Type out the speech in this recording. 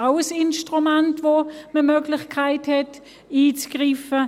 Dies ist auch ein Instrument, mit welchem die Möglichkeit besteht, einzugreifen.